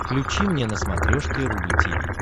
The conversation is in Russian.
включи мне на смотрешке рубль ти ви